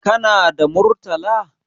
Kana da Murtala?